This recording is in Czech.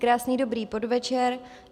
Krásný dobrý podvečer.